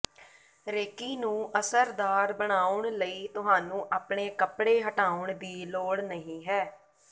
recce ਨੂੰ ਅਸਰਦਾਰ ਬਣਾਉਣ ਲਈ ਤੁਹਾਨੂੰ ਆਪਣੇ ਕੱਪੜੇ ਹਟਾਉਣ ਦੀ ਲੋੜ ਨਹੀਂ ਹੈ